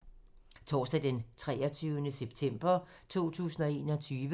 Torsdag d. 23. september 2021